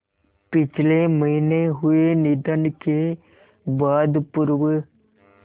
पिछले महीने हुए निधन के बाद पूर्व